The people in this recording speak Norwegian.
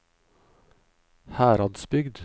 Heradsbygd